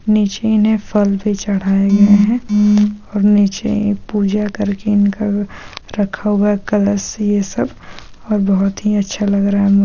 नीचे इन्हें फल भी चढ़ाया गया है और नीचे पूजा करके इनका रखा हुआ है कलश ये सब और बहुत ही अच्छा लग रहा है--